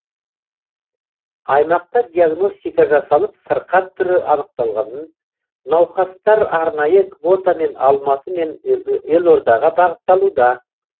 аймақта диагностика жасалып сырқат түрі анықталғанын науқастар арнайы квотамен алматы мен елордаға бағытталуда